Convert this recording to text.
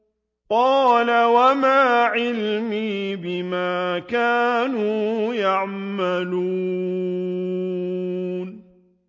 قَالَ وَمَا عِلْمِي بِمَا كَانُوا يَعْمَلُونَ